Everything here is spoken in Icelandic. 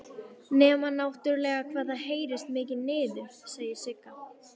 Nema náttúrlega hvað það heyrist mikið niður, segir Sigga.